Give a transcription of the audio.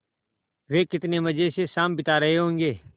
वे कितने मज़े से शाम बिता रहे होंगे